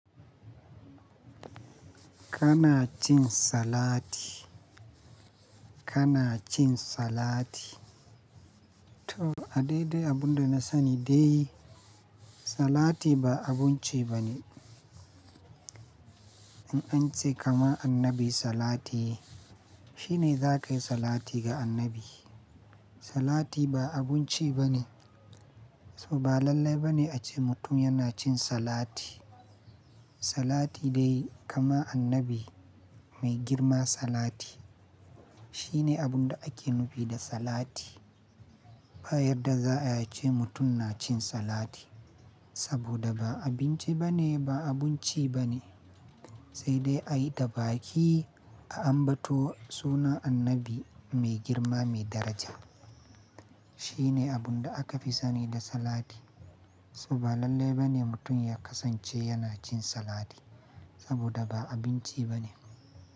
Kana cin salati. Kana cin salati. To a daidai abun da na sani dai salati ba abun ci bane. In an ce kama annabi salati, shi ne za ka yi salati ga annabi. Salati ba abun ci bane, so ba lallai bane a ce mutum yana cin salati. Salati dai kama annabi mai girma salati. Shi ne abun da ake nufi da salati. Ba yadda za a ce mutum na cin salati, saboda ba abinci bane ba abun ci bane. Sai dai a yi da baki a ambato sunan annabi mai girma mai daraja. Shi ne abun da aka fi sani da salati. So ba lallai bane mutum ya kasance yana cin salati saboda ba abinci bane.